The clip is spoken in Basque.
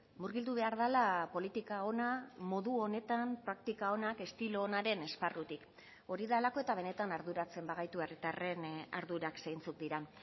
murgildu behar dela politika ona modu onetan praktika onak estilo onaren esparrutik hori delako eta benetan arduratzen bagaitu herritarren ardurak zeintzuk diren